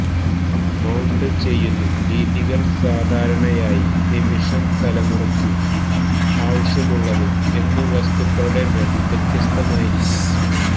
മൌണ്ടു്ചെയ്യുന്നു രീതികൾ സാധാരണയായി നിമിഷം തലമുറയ്ക്ക് ആവശ്യമുള്ളതും എന്നു വസ്തുക്കളുടെ മേൽ വ്യത്യസ്തമായിരിക്കും